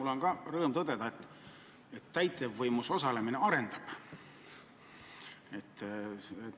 Mul on ka rõõm tõdeda, et täitevvõimus osalemine arendab.